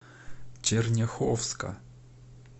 черняховска